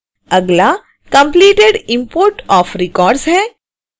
अगला completed import of records है